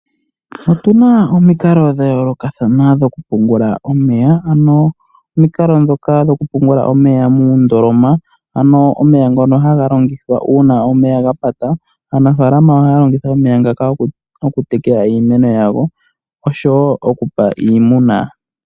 Opuna omikalo dhayoolokathana dhokupungula omeya. Opuna omukalo gokupungula omeya muundoloma omeya ngoka haga longithwa uuna omeya gapata. Aanafaalama ohaya longitha omeya ngoka okutekela iimeno osho wo okupa iimuna.